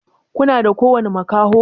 kuna da ƙowani makaho?